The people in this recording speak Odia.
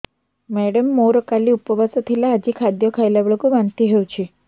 ମେଡ଼ାମ ମୋର କାଲି ଉପବାସ ଥିଲା ଆଜି ଖାଦ୍ୟ ଖାଇଲା ବେଳକୁ ବାନ୍ତି ହେଊଛି